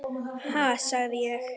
Ha, sagði ég.